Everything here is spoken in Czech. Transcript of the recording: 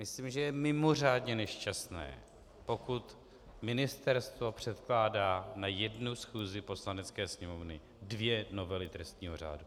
Myslím, že je mimořádně nešťastné, pokud ministerstvo předkládá na jednu schůzi Poslanecké sněmovny dvě novely trestního řádu.